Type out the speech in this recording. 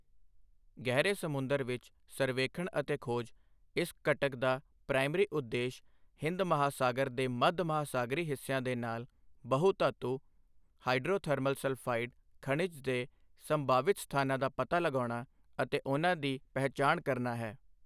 ਗਹਿਰੇ ਸਮੁੰਦਰ ਵਿੱਚ ਸਰਵੇਖਣ ਅਤੇ ਖੋਜ ਇਸ ਘਟਕ ਦਾ ਪ੍ਰਾਇਮਰੀ ਉਦੇਸ਼ ਹਿੰਦ ਮਹਾਸਾਗਰ ਦੇ ਮੱਧ ਮਹਾਸਾਗਰੀ ਹਿੱਸਿਆਂ ਦੇ ਨਾਲ ਬਹੁ ਧਾਤੁ ਹਾਇਡ੍ਰੋਥਰਮਲ ਸਲਫਾਇਡ ਖਣਿਜ ਦੇ ਸੰਭਾਵਿਤ ਸਥਾਨਾਂ ਦਾ ਪਤਾ ਲਗਾਉਣਾ ਅਤੇ ਉਨ੍ਹਾਂ ਦੀ ਪਹਿਚਾਣ ਕਰਨਾ ਹੈ।